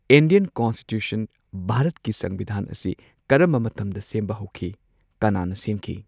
Indian constitution ꯚꯥꯔꯠꯀꯤ ꯁꯪꯕꯤꯙꯥꯟ ꯑꯁꯤ ꯀꯔꯝꯕ ꯃꯇꯝꯗ ꯁꯦꯝꯕ ꯍꯧꯈꯤ ꯀꯅꯥꯅ ꯁꯦꯝꯈꯤ